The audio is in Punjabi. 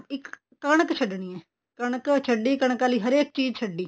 ਇੱਕ ਕਣਕ ਛੱਡਣੀ ਹੈ ਕਣਕ ਛੱਡੀ ਕਣਕ ਆਲੀ ਹਰੇਕ ਚੀਜ਼ ਛੱਡੀ